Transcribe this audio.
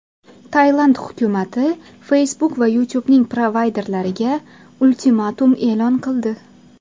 Tailand hukumati Facebook va YouTube’ning provayderlariga ultimatum e’lon qildi.